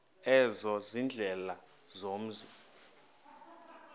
ezo ziindlela zomzi